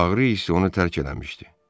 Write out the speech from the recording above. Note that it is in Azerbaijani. Ağrı isə onu tərk eləmişdi.